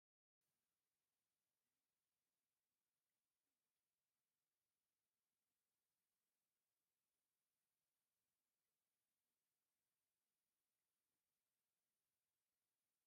ናይ ትግራይ ክልል ቀይሕን ብጫን ሕብሪ ን ኣብ ማእከሉ ድማ ብብጫ ሕብሪ ኮኮብ ዘለዋ ባንዴራ ዝገበረ ወዲ እንታይ ትብሃል ናይ ሙዚቃ መሳርሒት ሒዙ ኣሎ?